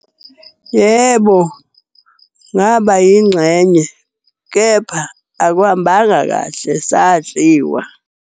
Yebo, ngaba yingxenye kepha akuhambanga kahle, sadliwa.